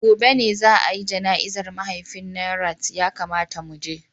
Gobe ​​ne za a yi jana'izar mahaifin Nanret, ya kamata mu je.